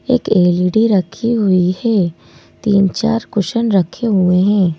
एक L_ E_ D_ रखी हुई है तीन-चार कुशन रखे हुए हैं।